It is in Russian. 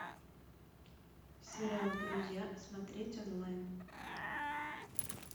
сериал друзья смотреть онлайн